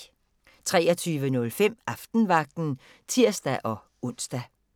23:05: Aftenvagten (tir-ons)